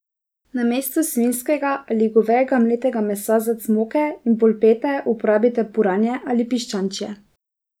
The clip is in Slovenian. Namesto svinjskega ali govejega mletega mesa za cmoke in polpete uporabite puranje ali piščančje.